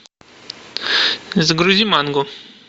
загрузи мангу